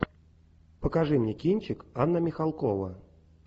покажи мне кинчик анна михалкова